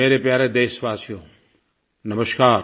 मेरे प्यारे देशवासियो नमस्कार